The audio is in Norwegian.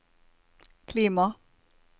klima